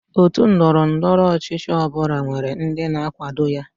Otú ndọrọ ndọrọ ọchịchị ọ bụla nwere ndị na-akwado ya.